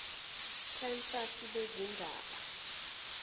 prima facie bezindaba